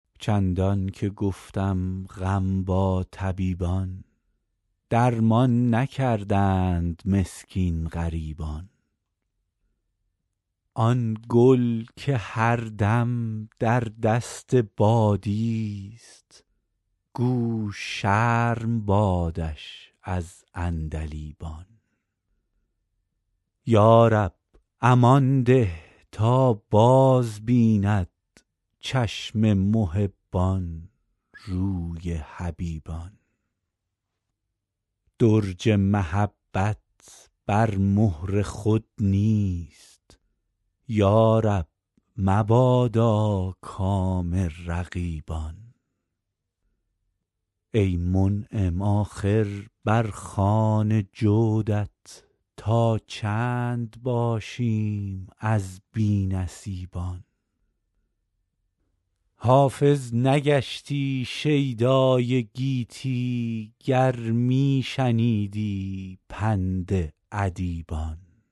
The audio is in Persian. چندان که گفتم غم با طبیبان درمان نکردند مسکین غریبان آن گل که هر دم در دست بادیست گو شرم بادش از عندلیبان یا رب امان ده تا بازبیند چشم محبان روی حبیبان درج محبت بر مهر خود نیست یا رب مبادا کام رقیبان ای منعم آخر بر خوان جودت تا چند باشیم از بی نصیبان حافظ نگشتی شیدای گیتی گر می شنیدی پند ادیبان